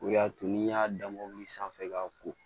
O y'a to n'i y'a da mobili sanfɛ k'a ko